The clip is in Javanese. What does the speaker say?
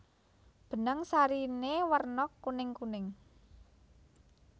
Benang sariné werna kuningkuning